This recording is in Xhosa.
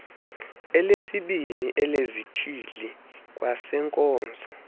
elesibini elezithili kwaneenkonzo